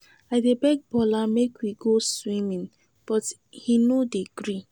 I dey beg Bola make we go swimming but he no dey gree.